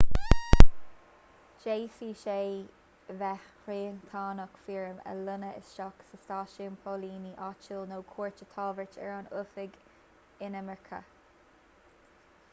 d'fhéadfadh sé bheith riachtanach foirm a líonadh isteach sa stáisiún póilíní áitiúil nó cuairt a thabhairt ar an oifig inimirce